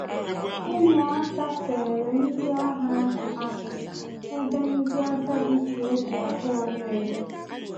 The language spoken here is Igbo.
Umuaka feere ndị agha ahụ aka, ebe ndị agadi ji obi abụọ na-ele